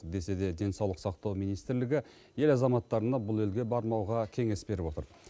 десе де денсаулық сақтау министрлігі ел азаматтарына бұл елге бармауға кеңес беріп отыр